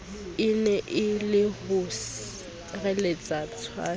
ene e le ho sireletswa